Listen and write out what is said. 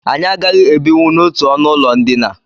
Anyị agaghị ebinwu n'otu ọnụụlọ ndina